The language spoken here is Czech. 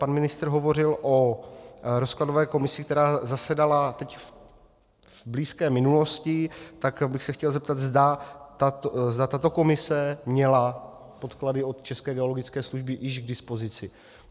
Pan ministr hovořil o rozkladové komisi, která zasedala teď v blízké minulosti, tak bych se chtěl zeptat, zda tato komise měla podklady od České geologické služby již k dispozici.